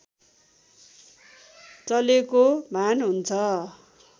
चलेको भान हुन्छ